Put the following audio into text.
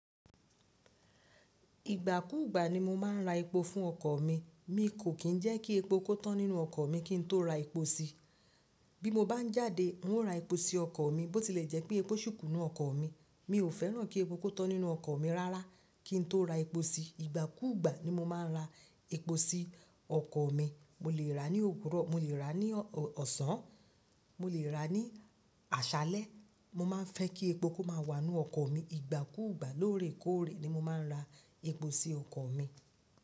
Ìgbà kú gbà ni mo máa ń ra epo fún ọkọ̀ mi. Mi kò kín ń jẹ́ kí epo kó tán nínú ọkọ̀ mi kí n tó ra epo sí i. Bí mo bá ń jáde, n ó ra epo sí ọkọ̀ mi. Bó ti lè jẹ́ pé epo ṣikú nínú ọkọ̀ mi, mi ò fẹ́ràn kí epo kó tán nínú ọkọ̀ mi rárá kí n tó ra epo sí i. Ìgbà kú gbà ni mo máa ń ra epo sí ọkọ̀ mi. Mo lè rà á ní òwúrọ̀, mo lè rà á ní ọ̀sán, mo lè rà á ní àṣálẹ́. Mo máa ń fẹ́ kí epo kó máa wà nínú ọkọ̀ mi. Ìgbà kú gbà lórè kóòrè ni mo máa ń ra epo sí ọkọ̀ mi.